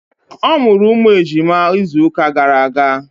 Ọ mụrụ ụmụ ejima izụka gara aga.